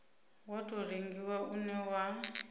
wa tou rengiwa une wa